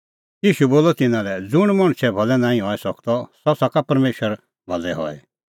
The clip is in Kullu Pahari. ईशू बोलअ तिन्नां लै ज़ुंण मणछे भलै नांईं हई सकदअ सह सका परमेशरे भलै हई